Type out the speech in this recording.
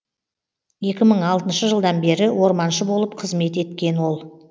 екі мың алтыншы жылдан бері орманшы болып қызмет еткен ол